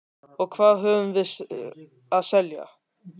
Og hvað höfum við að selja?